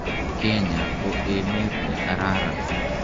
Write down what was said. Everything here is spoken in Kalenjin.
Kenya ko emet ne kararan.